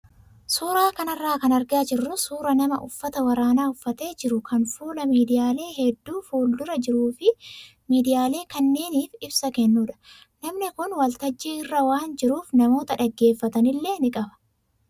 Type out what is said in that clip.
Suuraa kanarraa kan argaa jirru suuraa nama uffata waraanaa uffatee jiru kan fuula miidiyaalee hedduu fuuldura jiruu fi miidiyaalee kanneeniif ibsa kennudha. Namni kun waltajjii irra waan jiruuf namoota dhaggeeffatan illee ni qaba.